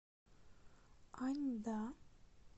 аньда